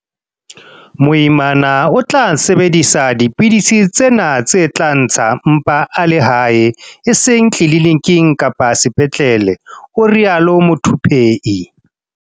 "Moimana o tla sebedisa dipidisi tsena tse tla ntsha mpa a le hae, e seng tliliniking kapa sepetlele," o rialo Muthuphei.